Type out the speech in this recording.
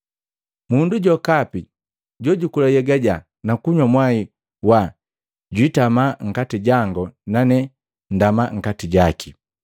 Mundu jokapi jojukula nhyega jaa na kunywa mmwai waa jutama nkati jango nane ndama nkati jaki.